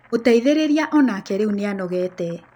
Mũteithĩrĩria o nake rĩu nĩ anogete